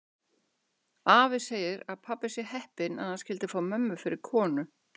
Afi segir að pabbi sé heppinn að hann skyldi fá mömmu fyrir konu.